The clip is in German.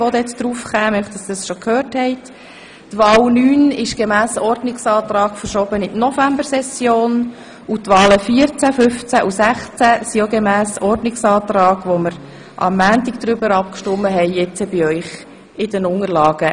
Die Wahl Nummer 9, Traktandum 82, wurde gemäss Ordnungsantrag in die Novembersession verschoben, und die Wahlen 14, 15 und 16 sind ebenfalls gemäss Ordnungsantrag, über den wir am Montag abgestimmt haben, heute in Ihren Unterlagen.